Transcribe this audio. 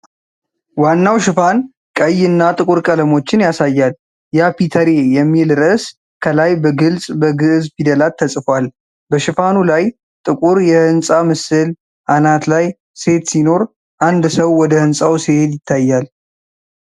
ዋናው ሽፋን ቀይ እና ጥቁር ቀለሞችን ያሳያል፤ "ያ. ፒተሬ" የሚል ርዕስ ከላይ በግልጽ በግዕዝ ፊደላት ተጽፏል። በሽፋኑ ላይ ጥቁር የህንጻ ምስል አናት ላይ ሴት ሲኖር፣ አንድ ሰው ወደ ሕንጻው ሲሄድ ይታያል።